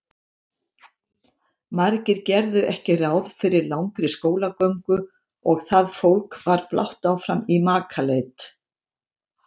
Margir gerðu ekki ráð fyrir langri skólagöngu og það fólk var blátt áfram í makaleit.